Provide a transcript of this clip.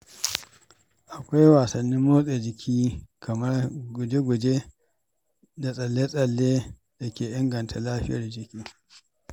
Akwai wasannin motsa jiki kamar guje-guje da tsalle-tsalle da ke inganta lafiyar jiki.